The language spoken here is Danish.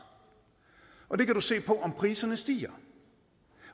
og det kan du se på om priserne stiger